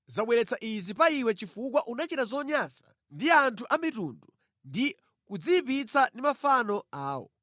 zabweretsa izi pa iwe chifukwa unachita zonyansa ndi anthu a mitundu ndi kudziyipitsa ndi mafano awo.